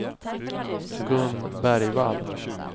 Gun Bergvall